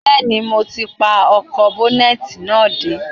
Bẹ́ẹ̀ni, mo ti pa ọkọ̀ ́bọ́nẹ́tì náà dé